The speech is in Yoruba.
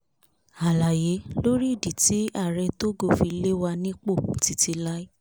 àlàyé lórí ìdí tí ààrẹ tógò fi lè wà nípò títí láí